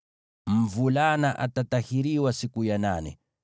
Mvulana atatahiriwa siku ya nane.